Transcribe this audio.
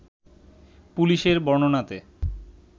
পুলিশের বর্ণনাতে